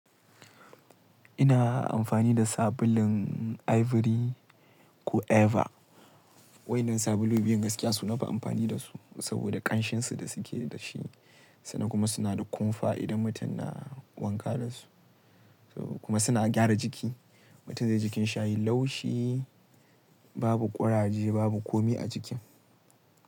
Ina amfani da sabulun Ivory ko Eva. Wainan sabulu biyun gaskiya suna nafi amfani da su saboda ƙanshinsu da suke da shi sannan kuma suna da kumfa idan mutum na wanka da su. Kuma suna gyara jiki. Mutum zaiji jikinshi yayi laushi, babu ƙuraje, babu komi a jiki.